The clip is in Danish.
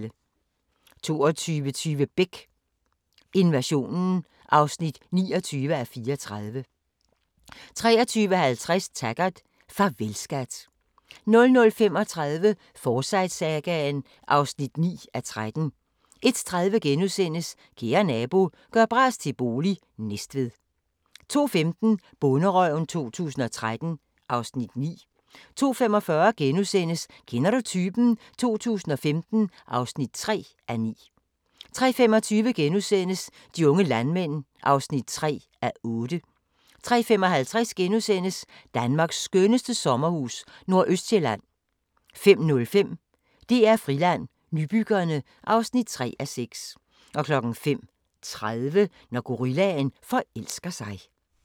22:20: Beck: Invasionen (29:34) 23:50: Taggart: Farvel, skat 00:35: Forsyte-sagaen (9:13) 01:30: Kære nabo – gør bras til bolig – Næstved * 02:15: Bonderøven 2013 (Afs. 9) 02:45: Kender du typen? 2015 (3:9)* 03:25: De unge landmænd (3:8)* 03:55: Danmarks skønneste sommerhus – Nordøstsjælland * 05:05: DR Friland: Nybyggerne (3:6) 05:30: Når gorillaen forelsker sig